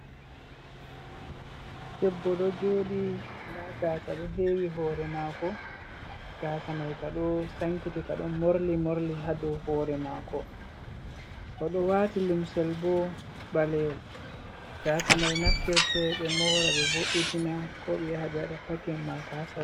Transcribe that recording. Debbo ɗo joɗi, nda gasa ɗo hewi hore mako, ngasa mai ka ɗo sankiti ka ɗon morli morli hadow hore mako, oɗo wati lumsel bo ɓaleyel, gasa mai naftirte ɓe mora ɓe vo'itina ko ɓe yaha ɓe waɗa pakin ma ka ha salun.